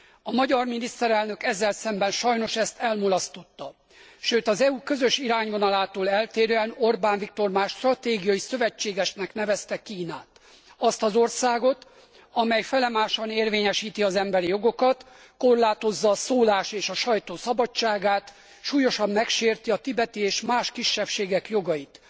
A magyar miniszterelnök ezzel szemben sajnos ezt elmulasztotta, sőt, az EU közös irányvonalától eltérően Orbán Viktor már stratégiai szövetségesnek nevezte Kínát, azt az országot, amely felemásan érvényesíti az emberi jogokat, korlátozza a szólás és a sajtó szabadságát, súlyosan megsérti a tibeti és más kisebbségek jogait.